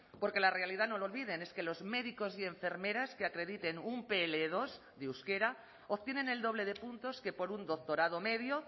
porque la realidad no lo olviden es que los médicos y enfermeras que acrediten un pe ele dos de euskera obtienen el doble de puntos que por un doctorado medio